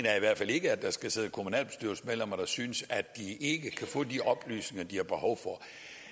er i hvert fald ikke at der skal sidde kommunalbestyrelsesmedlemmer der synes at de ikke kan få de oplysninger de har behov for at